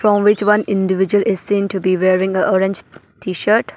From which one individual is seen to be wearing a orange t-shirt.